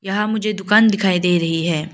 यहां मुझे दुकान दिखाई दे रही है।